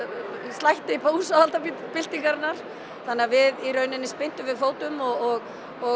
slætti búsáhaldabyltingarinnar þannig að við í raun spyrntum við fótum og